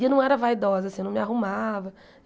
E eu não era vaidosa, assim, eu não me arrumava.